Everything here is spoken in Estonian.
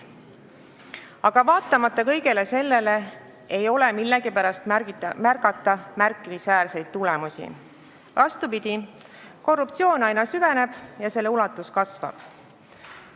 Aga vaatamata kõigele sellele ei ole millegipärast märgata märkimisväärseid tulemusi, vastupidi, korruptsioon aina süveneb ja selle ulatus kasvab.